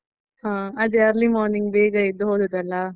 ಹಾ, ಅದೇ early morning ಬೇಗ ಎದ್ದು ಹೋದದ್ದಲ್ಲ?